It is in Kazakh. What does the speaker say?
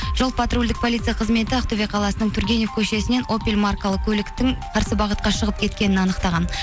жол патрульдік полицей қызметі ақтөбе қаласының тургенев көшесінен опель маркалы көліктің қарсы бағытқа шығып кеткенін анықтаған